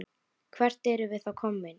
Hvert erum við þá komin?